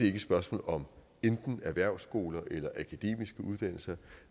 ikke et spørgsmål om enten erhvervsskoler eller akademiske uddannelser